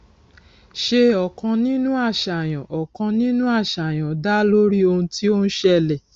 ṣe ọkàn nínú àṣàyàn ọkàn nínú àṣàyàn dá lórí ohun tí ó ń ṣẹlẹ